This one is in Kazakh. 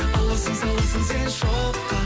аласың саласың сен шоққа